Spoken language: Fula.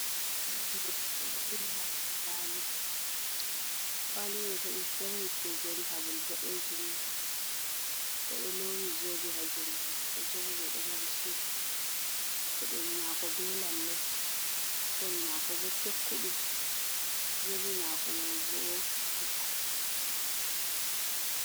Jungo godɗo, ɗo ɓili hadow kuwali, kuwali mai bo is very representable, ɓoɗeejum, oɗo lowi zobe ha jungo mako, zobe mai ɗo mari cen, peɗeli mako be lallei koli mako bo tekkuɗum, zobe mako mai boh....